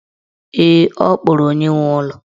Ee, ọ kpọrọ onye nwe ụlọ.